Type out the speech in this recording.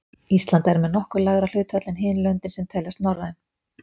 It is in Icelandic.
Ísland er með nokkuð lægra hlutfall en hin löndin sem teljast norræn.